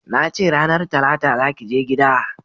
Na ce ranar talata za ki je gida!